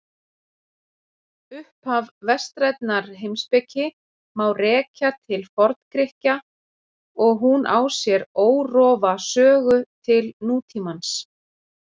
Upphaf vestrænnar heimspeki má rekja til Forngrikkja og hún á sér órofa sögu til nútímans.